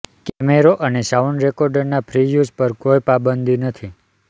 કેમેરો અને sound recorder ના ફ્રી યુઝ પર કોઈ પાબંદી નથી